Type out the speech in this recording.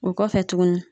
O kɔfɛ tuguni